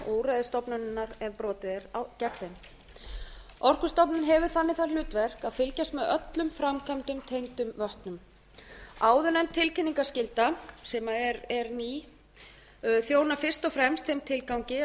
og úrræði stofnunarinnar ef brotið er gegn þeim orkustofnun hefur þannig það hlutverk að fylgjast með öllum framkvæmdum tengdum vötnum áðurnefnd tilkynningarskylda sem er ný þjónar fyrst og fremst þeim tilgangi að